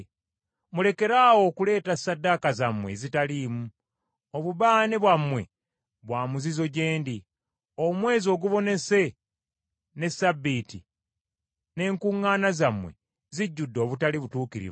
Mulekeraawo okuleeta ssaddaaka zammwe ezitaliimu; obubaane bwammwe bwa muzizo gye ndi. Omwezi Ogubonese ne Ssabbiiti n’enkuŋŋaana zammwe zijjudde obutali butuukirivu.